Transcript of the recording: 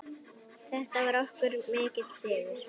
Þetta var okkur mikill sigur.